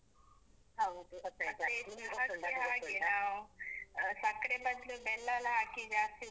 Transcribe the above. ಹೌದು. ಮತ್ತೆ ಚಹಕ್ಕೆ ಹಾಗೆ ನಾವು ಸಕ್ರೆ ಬದ್ಲು ಬೆಲ್ಲ ಎಲ್ಲ ಹಾಕಿ ಜಾಸ್ತಿ. ಮತ್ತೆ ಚಹಕ್ಕೆ ಹಾಗೆ ನಾವು ಸಕ್ರೆ ಬದ್ಲು ಬೆಲ್ಲ ಎಲ್ಲ ಹಾಕಿ ಜಾಸ್ತಿ.